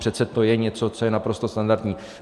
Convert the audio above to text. Přece to je něco, co je naprosto standardní.